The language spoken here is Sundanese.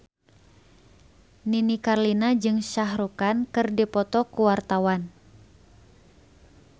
Nini Carlina jeung Shah Rukh Khan keur dipoto ku wartawan